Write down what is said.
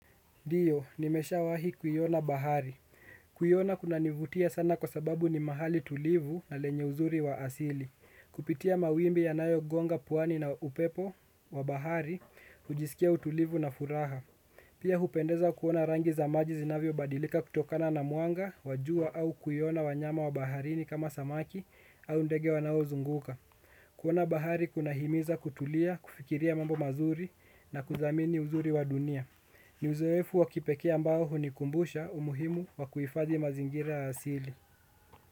Ndio, nimeshawai kuiona bahari. Kuiona kunanivutia sana kwa sababu ni mahali tulivu na lenye uzuri wa asili. Kupitia mawimbi yanayogonga puani na upepo wa bahari, ujiskia utulivu na furaha. Pia hupendeza kuona rangi za maji zinavyo badilika kutokana na mwanga, wa jua au kuiona wanyama wa baharini kama samaki au ndege wanao zunguka. Kuona bahari kuna himiza kutulia, kufikiria mambo mazuri na kudhamini uzuri wa dunia. Ni uzoefu wa kipekee ambao hunikumbusha umuhimu wa kuifadhi mazingira asili.